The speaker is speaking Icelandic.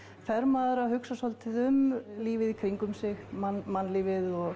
fer maður að hugsa svolítið um lífið í kringum sig mannlífið og